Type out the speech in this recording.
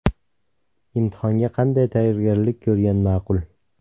Imtihonga qanday tayyorgarlik ko‘rgan maqul?